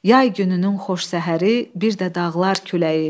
Yay gününün xoş səhəri bir də dağlar küləyi.